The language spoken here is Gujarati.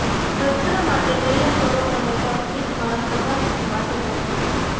સત્ર માટે તૈયાર કરો અને તમે એક મહાન શરૂઆત માટે બંધ થશો